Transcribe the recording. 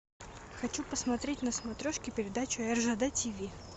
хочу посмотреть на смотрешке передачу ржд тиви